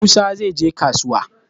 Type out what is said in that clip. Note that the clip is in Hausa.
Musa zai je kasuwa.